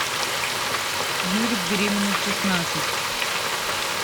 юлик беременна в шестнадцать